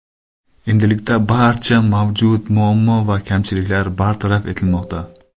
Endilikda barcha mavjud muammo va kamchiliklar bartaraf etilmoqda.